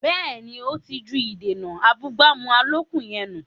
Bẹ́ẹ̀ni, ó ti ju “ìdènà abúgbàmù” àlòkù yẹn nù